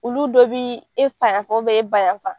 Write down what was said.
Olu dɔ bɛ e fa yanfan e ba yanfan.